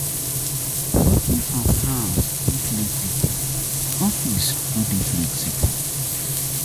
Working from home dey flexible, office work no dey flexible